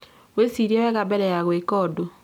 Wicirie wega mbere ya gwika ũndũ